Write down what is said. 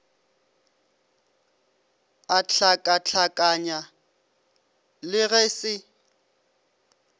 a hlakahlakanya le ge se